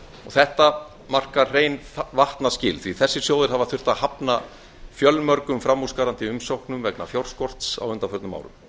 þetta markar hrein vatnaskil því þessir sjóðir hafa þurft að hafna fjölmörgum framúrskarandi umsóknum vegna fjárskorts á undanförnum árum